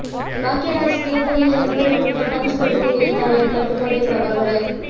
பாக்யராஜ் தேர்தலில் நிற்பது குறித்து பஞ்ச் கொடுத்த எழுத்தாளர் பட்டுக்கோட்டை பிரபாகர்